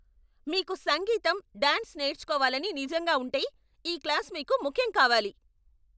మీకు సంగీతం, డాన్స్ నేర్చుకోవాలని నిజంగా ఉంటే, ఈ క్లాస్ మీకు ముఖ్యం కావాలి.